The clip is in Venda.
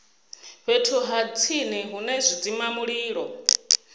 fhethu ha tsini hune zwidzimamulilo